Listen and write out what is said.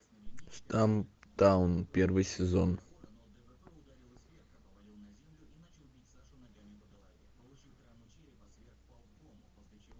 стамптаун первый сезон